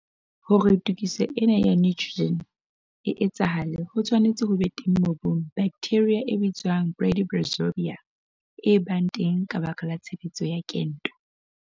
Hore tokiso ena ya nitrogen e etsahale ho tshwanetse ho ba teng mobung baktheria e bitswang bradyrhizobia e bang teng ka baka la tshebetso ya kento.